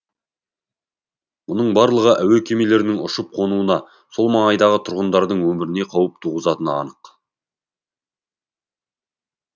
мұның барлығы әуе кемелерінің ұшып қонуына сол маңайдағы тұрғындардың өміріне қауіп туғызатыны анық